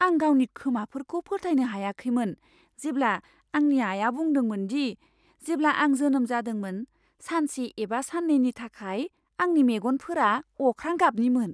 आं गावनि खोमाफोरखौ फोथायनो हायाखैमोन जेब्ला आंनि आइया बुंदोंमोन दि जेब्ला आं जोनोम जादोंमोन सानसे एबा सान्नैनि थाखाय आंनि मेगनफोरा अख्रां गाबनिमोन।